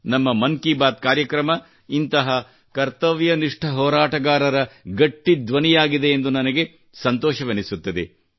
ನಮ್ಮ ಮನ್ ಕಿ ಬಾತ್ ಕಾರ್ಯಕ್ರಮ ಕರ್ತವ್ಯನಿಷ್ಟ ಹೋರಾಟಗಾರರ ಗಟ್ಟಿ ಧ್ವನಿಯಾಗಿದೆ ಎಂದು ನನಗೆ ಸಂತೋಷವೆನಿಸುತ್ತದೆ